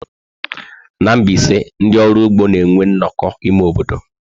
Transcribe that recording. Na Mbaise, ndị ọrụ ụgbọ na-enwe nnọkọ ime obodo.